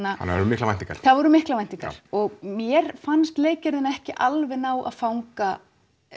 það voru miklar væntingar það voru miklar væntingar og mér fannst leikgerðin ekki alveg ná að fanga